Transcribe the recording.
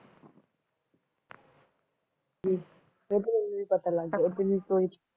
ਲੇਕਿਨ ਓਉਨੁ ਵੀ ਪਤਾ ਲਾਗ ਗਯ ਅਸਲ ਵਿਚ ਊ